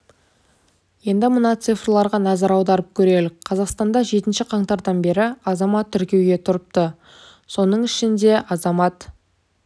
енді мына цифрларға назар аударып көрелік қазақстанда жетінші қаңтардан бері азамат тіркеуге тұрыпты соның ішінде азамат